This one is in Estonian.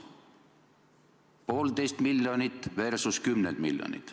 Poolteist miljardit versus kümned miljonid.